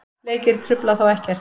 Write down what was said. Leikir trufla þá ekkert.